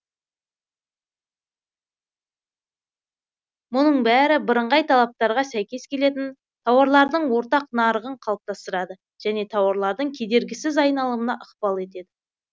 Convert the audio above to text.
мұның бәрі бірыңғай талаптарға сәйкес келетін тауарлардың ортақ нарығын қалыптастырады және тауарлардың кедергісіз айналымына ықпал етеді